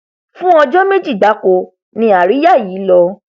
fún ọjọ méjì gbáko ni àríyá yìí lọ